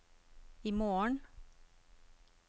imorgen